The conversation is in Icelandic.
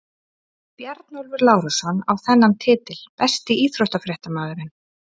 Bjarnólfur Lárusson á þennan titil Besti íþróttafréttamaðurinn?